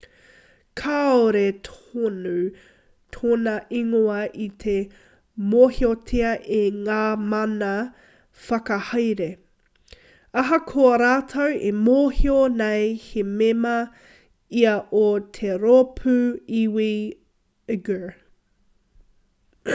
kāore tonu tōna ingoa i te mōhiotia e ngā mana whakahaere ahakoa rātou e mōhio nei he mema ia o te rōpū iwi uighur